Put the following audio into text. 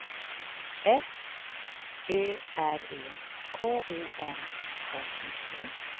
F Ö R E K O M M I T